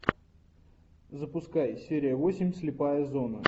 запускай серия восемь слепая зона